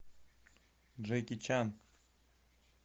джеки чан